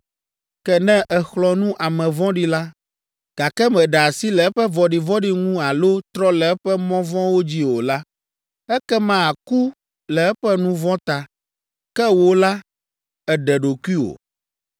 Ke ne èxlɔ̃ nu ame vɔ̃ɖi la, gake meɖe asi le eƒe vɔ̃ɖivɔ̃ɖi ŋu alo trɔ le eƒe mɔ vɔ̃wo dzi o la, ekema aku le eƒe nu vɔ̃ ta, ke wò la, èɖe ɖokuiwò.